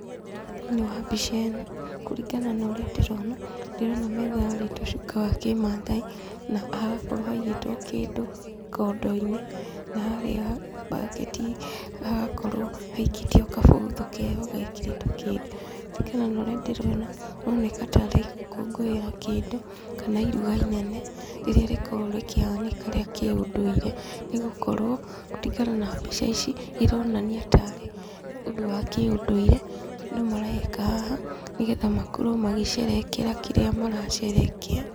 Thĩiniĩ wa mbica ĩno, kũringana na ũrĩa ndĩrona, ndĩrona metha yarĩtwo cuka wa kĩmathai, na hagakorwo haigĩtwo kĩndũ kondo-inĩ, na harĩa mbaketi hagakorwo haikĩtio gabũthũ keho gekĩrĩtwo kĩndũ. Kũringana na ũrĩa ndĩrona maroneka tarĩ gũkũngũĩra kĩndũ, kana iruga inene rĩrĩa rĩkoragwo rĩkĩhanĩka rĩa kĩũndũire, nĩgũkorwo kũringana na mbica ici, ironania tarĩ ũndũ wa kĩũndũire andũ mareka haha, nĩgetha makorwo magĩcerehekera kĩrĩa maracerehekea.